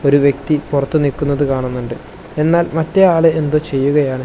ഒരു വ്യക്തി പുറത്തു നിൽക്കുന്നത് കാണുന്നുണ്ട് എന്നാൽ മറ്റേ ആള് എന്തോ ചെയ്യുകയാണ്.